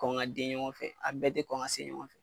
Kɔ kan ka den ɲɔgɔn fɛ, a bɛɛ te kɔn ka se ɲɔgɔn fɛ